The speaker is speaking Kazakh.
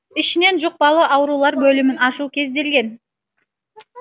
ішінен жұқпалы аурулар бөлімін ашу көзделген